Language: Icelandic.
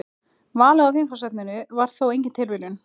Valið á viðfangsefninu var þó engin tilviljun.